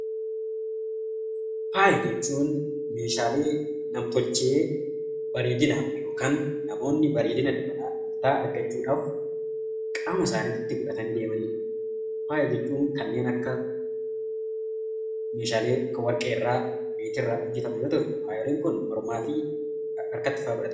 Faaya jechuun huun Meeshaalee nam-tolchee bareedinaaf yookiin namoonni bareedina dabalataa argachuudhaaf qaama isaaniitti dibatanii deemaniidha. Faaya jechuun kanneen akka Meeshaalee warqee irraa, meetii irraa hojjetaman yemmuu ta'u, fayeriin Kun harkatti fa'aa godhama.